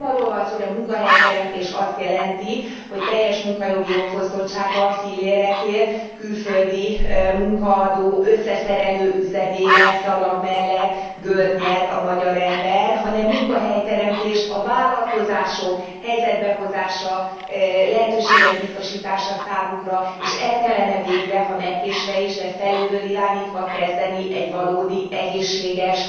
Nem arról van szó, hogy a munkahelyteremtés azt jelenti, hogy teljes munkajogi jogfosztottságban, fillérekért, külföldi munkaadó összeszerelő üzemében szalag mellett görnyed a magyar ember, hanem munkahelyteremtés a vállalkozások helyzetbe hozása, lehetőségek biztosítása számukra, és el kellene végre, ha megkésve is, de felülről irányítva kezdeni egy valódi, egészséges,